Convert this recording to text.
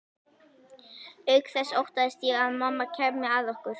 Auk þess óttaðist ég að mamma kæmi að okkur.